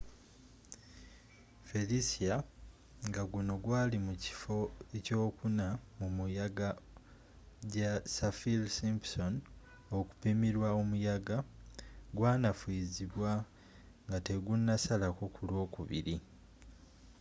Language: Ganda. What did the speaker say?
felicia ngaguno gwali mu kifo 4 mumuyaga ja saffir-simpson okupimirwa omuyaga gwanafuyizibwa ngategunasalako ku lwokubiri